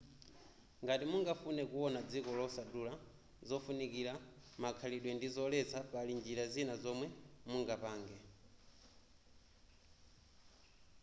ngati mungafune kuona dziko losadula zofunikira makhalidwe ndi zoletsa pali njira zina zomwe mungapange